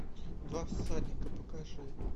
два всадника покажи